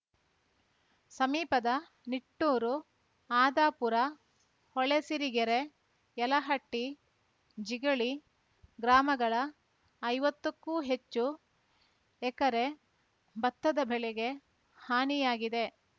ಸಮೀಪದ ನಿಟ್ಟೂರು ಆದಾಪುರ ಹೊಳೆಸಿರಿಗೆರೆ ಯಲಹಟ್ಟಿ ಜಿಗಳಿ ಗ್ರಾಮಗಳ ಐವತ್ತ ಕ್ಕೂ ಹೆಚ್ಚು ಎಕರೆ ಭತ್ತದ ಬೆಳೆಗೆ ಹಾನಿಯಾಗಿದೆ